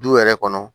Du yɛrɛ kɔnɔ